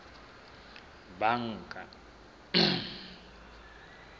banka